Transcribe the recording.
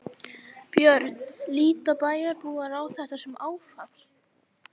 Björn: Líta bæjarbúar á þetta sem áfall?